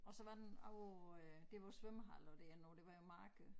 Og så var den på øh dér hvor æ svømmehal og det er nu det var jo marked